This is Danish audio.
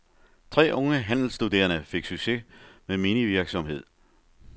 Tre unge handelsstuderende fik succes med minivirksomhed.